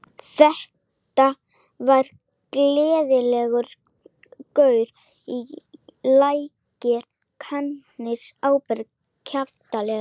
Þetta var gleiðgosalegur gaur í lægri kantinum, áberandi kraftalegur.